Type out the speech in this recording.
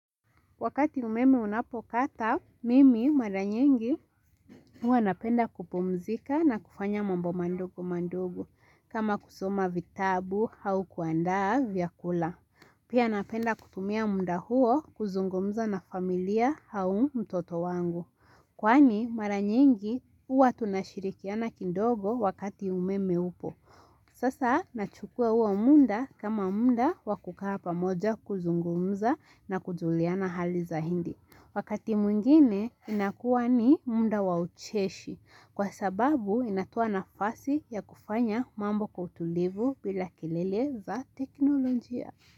Wakati umeme unapokata, mimi mara nyingi hua napenda kupumzika na kufanya mambo madogo madogo kama kusoma vitabu au kuandaa vyakula. Pia napenda kutumia muda huo kuzungumza na familia au mtoto wangu. Kwani mara nyingi huwa tunashirikiana kidogo wakati umeme upo. Sasa nachukua huo muda kama muda wa kukaa pamoja kuzungumza na kujuliana hali zaidi. Wakati mwingine inakuwa ni muda wa ucheshi kwa sababu inatoa nafasi ya kufanya mambo kwa utulivu bila kelele za teknolojia.